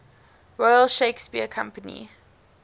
royal shakespeare company